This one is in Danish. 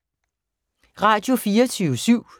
Radio24syv